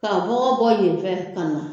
Ka kɔngɔ bɔ yen fɛ ka na.